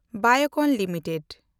Biocon limited